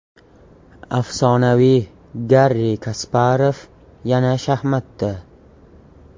Afsonaviy Garri Kasparov yana shaxmatda.